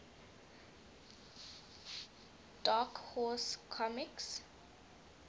dark horse comics